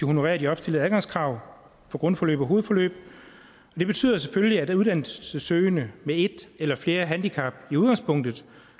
honorerer de opstillede adgangskrav på grundforløb og hovedforløb det betyder selvfølgelig at uddannelsessøgende med et eller flere handicap i udgangspunktet